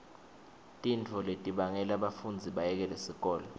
tintfo letibangela bafundzi bayekele sikolo